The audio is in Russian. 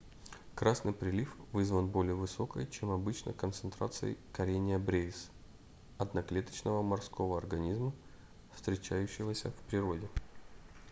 красный прилив вызван более высокой чем обычно концентрацией karenia brevis одноклеточного морского организма встречающегося в природе